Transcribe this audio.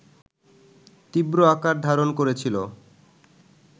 তীব্র আকার ধারণ করেছিল